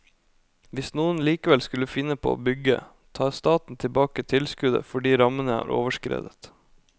Hvis noen likevel skulle finne på å bygge, tar staten tilbake tilskuddet fordi rammene er overskredet.